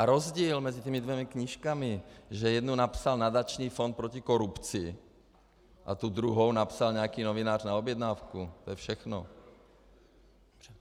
A rozdíl mezi těma dvěma knížkami, že jednu napsal Nadační fond proti korupci a tu druhou napsal nějaký novinář na objednávku, to je všechno.